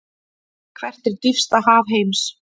Hvert er dýpsta haf heims?